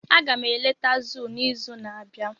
Aga m eleta zoo n'izu na-abịa.